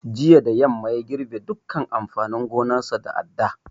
Jiya da yamma ya girɓe dukkan amfanin gonarsa da adda